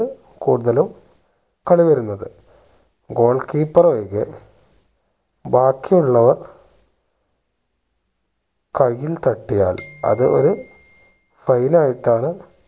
കൂടുതലും കളി വരുന്നത് goal keeper ഒഴികെ ബാക്കി ഉള്ളവർ കയ്യിൽ തട്ടിയാൽ അത് ഒരു fail ആയിട്ടാണ്